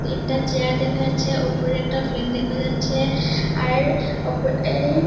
তিনটা চেয়ার দেখা যাচ্ছে উপরের একটা ফ্যান দেখা যাচ্ছে আর ওপরে-এ--